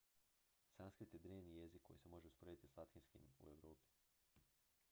sanskrit je drevni jezik koji se može usporediti s latinskim u europi